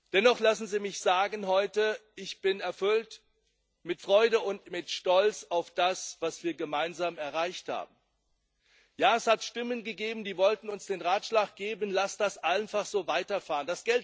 Dennoch lassen Sie mich heute sagen Ich bin mit Freude und mit Stolz erfüllt, auf das, was wir gemeinsam erreicht haben. Ja, es hat Stimmen gegeben, die wollten uns den Ratschlag geben, lasst das einfach so weiterfahren.